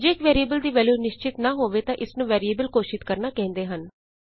ਜੇ ਇਕ ਵੈਰੀਐਬਲ ਦੀ ਵੈਲਯੂ ਨਿਸ਼ਚਿਤ ਨਾਂ ਹੋਵੇ ਤਾਂ ਇਸ ਨੂੰ ਵੈਰੀਐਬਲ ਘੋਸ਼ਿਤ ਕਰਨਾ ਕਹਿੰਦੇ ਹਨ